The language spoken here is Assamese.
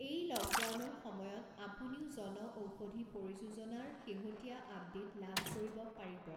এই লকডাউনৰ সময়ত আপুনিও জনঔষধি পৰিযোজনাৰ শেহতীয়া আপডেট লাভ কৰিব পাৰিব।